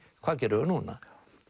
hvað gerum við núna